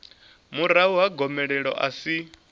murahu ha gomelelo a si